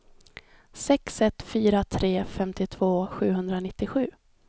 sex ett fyra tre femtiotvå sjuhundranittiosju